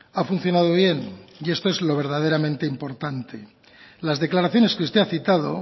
ha funcionado bien y esto es lo verdaderamente importante las declaraciones que usted ha citado